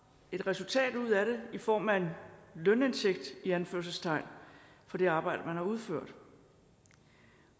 et resultat ud af det i form af en lønindtægt i anførselstegn for det arbejde man har udført